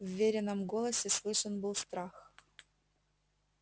в верином голосе слышен был страх